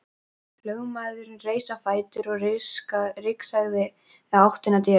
Lögmaðurinn reis á fætur og rigsaði í áttina til dyranna.